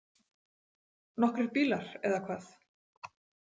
Nokkrir bílar, eða hvað?